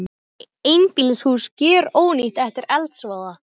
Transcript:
Einbýlishús gjörónýtt eftir eldsvoða